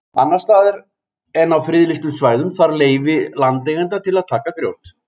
annars staðar en á friðlýstum svæðum þarf leyfi landeigenda til að taka grjót